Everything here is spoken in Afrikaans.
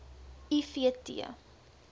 i v t